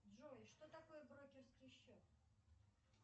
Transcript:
джой что такое брокерский счет